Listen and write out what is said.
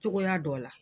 Cogoya dɔ la